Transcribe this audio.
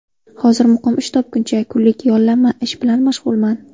Hozir muqim ish topguncha kunlik yollanma ish bilan mashg‘ulman.